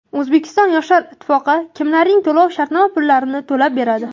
O‘zbekiston yoshlar ittifoqi kimlarning to‘lov-shartnoma pullarini to‘lab beradi?.